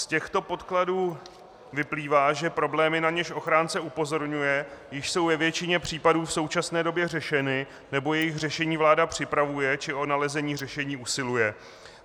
Z těchto podkladů vyplývá, že problémy, na něž ochránce upozorňuje, již jsou ve většině případů v současné době řešeny, nebo jejich řešení vláda připravuje, či o nalezení řešení usiluje.